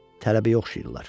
Tələbəyə oxşayırlar.